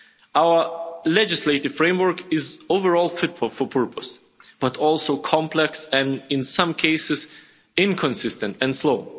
Our legislative framework is overall fit for purpose, but also complex, and in some cases inconsistent and slow.